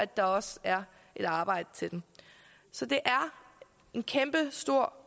der også er et arbejde til dem så det er en kæmpestor